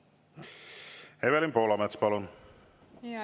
Evelin Poolamets, palun!